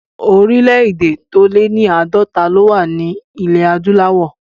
Orílẹ̀ èdè tó lé ní àádọ́ta ló wà ní ilẹ̀ adúláwọ̀